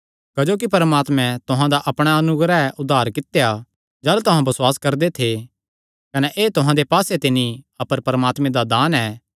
क्जोकि परमात्मे तुहां दा अपणे अनुग्रह नैं उद्धार कित्या जाह़लू तुहां बसुआस करदे थे कने एह़ तुहां दे पास्से ते नीं अपर परमात्मे दा दान ऐ